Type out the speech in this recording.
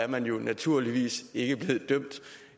man naturligvis ikke blevet dømt